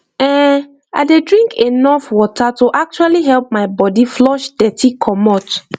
ehn i dey drink enough water to actually help my body flush dirty commot